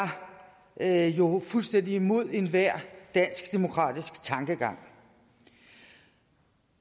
er jo fuldstændig imod enhver dansk demokratisk tankegang